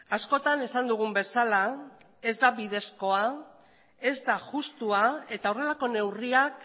askotan esan dugun bezala ez da bidezkoa ez da justua eta horrelako neurriak